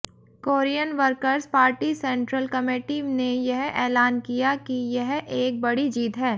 Korean workers party central committee ने यह ऐलान किया कि यह एक बड़ी जीत है